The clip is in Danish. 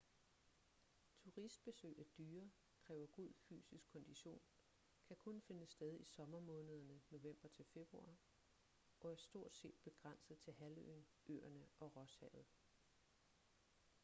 turistbesøg er dyre kræver god fysisk kondition kan kun finde sted i sommermånederne nov-feb og er stortset begrænset til halvøen øerne og rosshavet